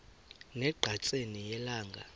ne ngqatsini yelanga